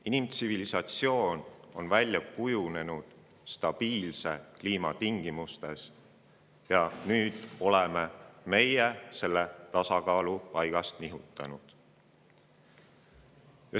Inimtsivilisatsioon on välja kujunenud stabiilse kliima tingimustes ja nüüd oleme meie selle tasakaalu paigast nihutanud.